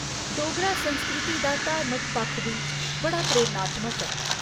डोगरा संस्कृति दा धार्मिक पक्ख बी बड़ा प्रेरणात्मक ऐ।